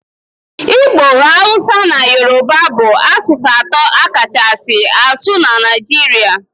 Igbo, Hausa na Yoruba bụ asụsụ atọ a kachasị asụ na Nigeria